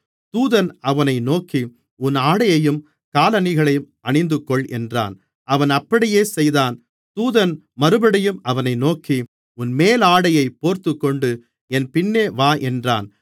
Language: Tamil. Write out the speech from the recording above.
தூதன் அவனை நோக்கி உன் ஆடையையும் காலணிகளையும் அணிந்துகொள் என்றான் அவன் அப்படியே செய்தான் தூதன் மறுபடியும் அவனை நோக்கி உன் மேலாடையைப் போர்த்துக்கொண்டு என் பின்னே வா என்றான்